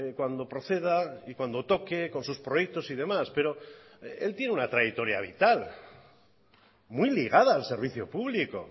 cuando proceda y cuando toque con sus proyectos y demás pero él tiene una trayectoria vital muy ligada al servicio público